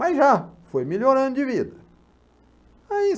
Mas já foi melhorando de vida. Aí